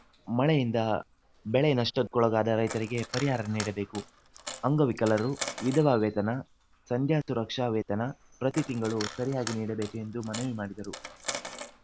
ಮಳೆಯಿಂದ ಬೆಳೆ ನಷ್ಟಕ್ಕೊಳಗಾದ ರೈತರಿಗೆ ಪರಿಹಾರ ನೀಡಬೇಕು ಅಂಗವಿಕಲರು ವಿಧವಾ ವೇತನ ಸಂಧ್ಯಾ ಸುರಕ್ಷಾ ವೇತನ ಪ್ರತಿ ತಿಂಗಳು ಸರಿಯಾಗಿ ನೀಡಬೇಕು ಎಂದು ಮನವಿ ಮಾಡಿದರು